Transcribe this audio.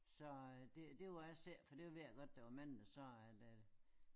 Så det det vil jeg ikke sige for det ved jeg godt det var mange der sagde at øh